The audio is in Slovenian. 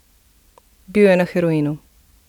Bil je na heroinu.